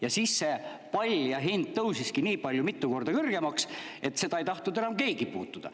Ja siis see hind tõusis nii mitu korda kõrgemaks, et seda ei tahtnud enam keegi puutuda.